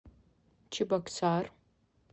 чебоксар